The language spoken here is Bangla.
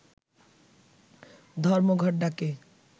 ধর্মঘট ডাকে